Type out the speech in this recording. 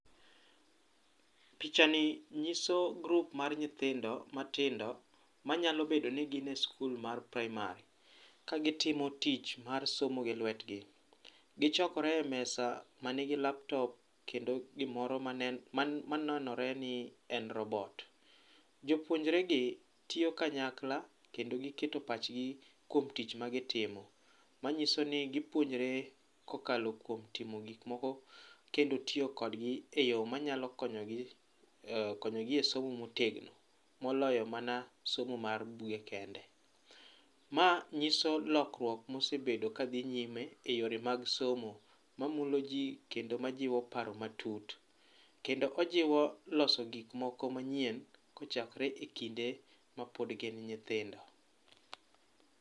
Picha ni nyiso grup mar nyithindo matindo manyalo bedo ni gin e sikul bedo ni gin e sikul mar praimar, ka gitimo tich mar somo gi lwetgi. Gichokore e mesa manigi laptop kendo gimoro ma nenore ni en robot. Jopuonjregi tiyo kanyakla kendo giketo pachgi kuom tich magitimo. Manyiso ni gipuonjre kokalo kuom timo gik moko kendo tiyo kodgi eyo manyalo konyogi konyogi e somo motegno moloyo mana somo mar buge kende. Ma nyiso lokruok mosebedo kadhi nyime eyore mag somo mamulo ji kendo majiwo paro matut. Kendo ojiwo loso gik moko manyien kochakore ekinde mapod gin nyithindo.